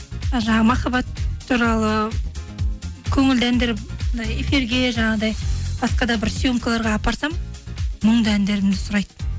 ы жаңағы махаббат туралы көңілді әндер эфирға жаңағыдай басқа да бір съемкаларға апарсам мұңды әндерімді сұрайды